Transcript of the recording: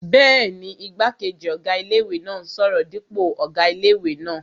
Bẹ́ẹ̀ni, igbákejì ọ̀gá ilé-ìwé náà n sọ̀rọ̀ dípò ọ̀gá ilé-ìwé náà